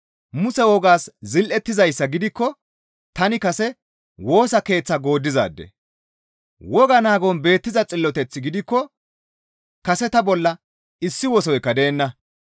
Muse wogaas zil7ettizayssa gidikko tani kase Woosa Keeththaa gooddizaade. Wogaa naagon beettiza xilloteth gidikko kase ta bolla issi wosoykka deenna.